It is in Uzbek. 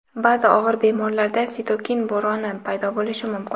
Baʼzi og‘ir bemorlarda "sitokin bo‘roni" paydo bo‘lishi mumkin .